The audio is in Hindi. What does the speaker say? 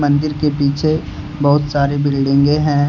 मंदिर के पीछे बहुत सारे बिल्डिंगें हैं।